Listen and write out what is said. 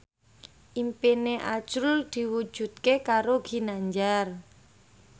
impine azrul diwujudke karo Ginanjar